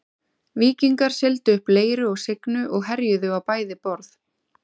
Víkingar sigldu upp Leiru og Signu og herjuðu á bæði borð.